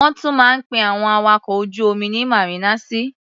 Wọ́n tún máa ń pe àwọn awakọ̀ ojú-omi ní màrínàsì.